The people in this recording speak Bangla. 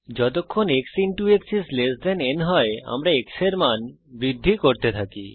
যতক্ষণ x x n হয় আমরা x এর মান বৃদ্ধি করতে থাকি